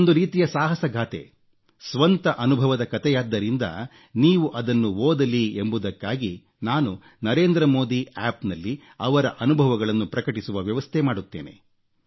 ಇದೊಂದು ರೀತಿಯ ಸಾಹಸ ಗಾಥೆ ಸ್ವಂತ ಅನುಭವದ ಕಥೆಯಾದ್ದರಿಂದ ನೀವು ಅದನ್ನು ಓದಲಿ ಎಂಬುದಕ್ಕಾಗಿ ನಾನು ನರೇಂದ್ರ ಮೋದಿ ಆಪ್ನಲ್ಲಿ ಅವರ ಅನುಭವಗಳನ್ನು ಪ್ರಕಟಿಸುವ ವ್ಯವಸ್ಥೆ ಮಾಡುತ್ತೇನೆ